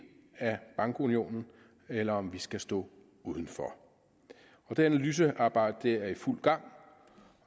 af bankunionen eller om vi skal stå uden for og det analysearbejde er i fuld gang